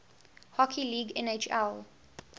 hockey league nhl